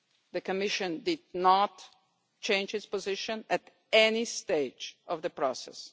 The Commission did not change its position at any stage of the process.